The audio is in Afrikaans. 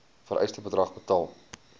vereiste bedrag betaal